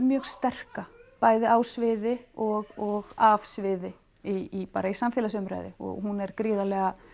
mjög sterka bæði á sviði og af sviði í bara samfélagsumræðu og hún er gríðarlega